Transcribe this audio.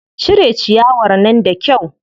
Cire ciyawar nan da kyau.